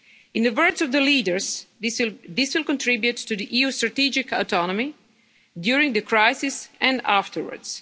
In the words of the leaders, this will contribute to the EU's strategic autonomy during the crisis and afterwards.